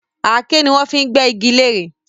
Aké ni wọ́n fi n gbé iji lere